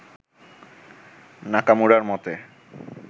নাকামুরার মতে